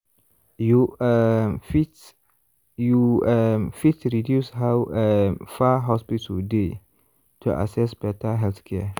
you um fit you um fit reduce how um far hospital dey to access better healthcare.